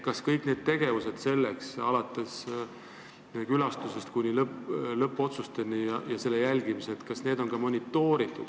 Kas kõiki neid tegevusi, alates külastusest kuni lõppotsusteni, on ka monitooritud?